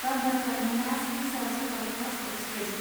Bandra terminus Hisar superfast express